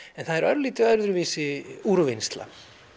það er örlítið öðruvísi úrvinnsla